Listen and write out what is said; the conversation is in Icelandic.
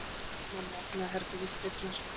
Mamma opnaði herbergisdyrnar.